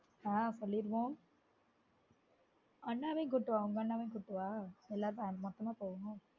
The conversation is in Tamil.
ஆஹ் சொல்லிடுவோம் அண்ணாவையும் கூட்டு வா உங்க அண்ணாவையும் கூட்டு வா எல்லாரும் ஒன்ன மொத்தமா போயிருவோம்